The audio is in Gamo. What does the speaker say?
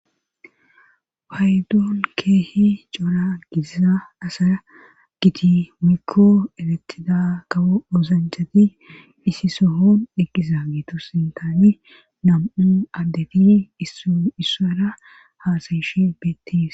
Waydon keehi cora gidiza asaa giti mikko eretida kawo oosanchati isi sohon eqqisa geetu sintaani nam'u addeti issara haasayishe beettis.